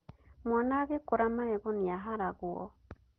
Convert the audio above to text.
Mwana agĩkũra magego nĩaharagwo.